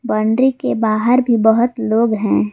Boundary के बाहर भी बहुत लोग हैं।